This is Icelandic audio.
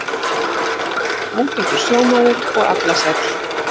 Var hann talinn ágætur sjómaður og aflasæll.